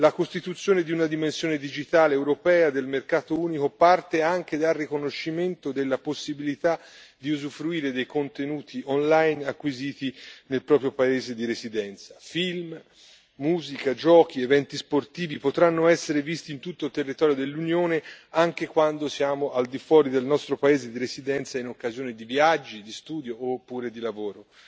La costituzione di una dimensione digitale europea del mercato unico parte anche dal riconoscimento della possibilità di usufruire dei contenuti online acquisiti nel proprio paese di residenza, film, musica, giochi ed eventi sportivi potranno essere visti in tutto il territorio dell'Unione, anche quando siamo al di fuori del nostro paese di residenza, in occasione di viaggi, di studio oppure di lavoro.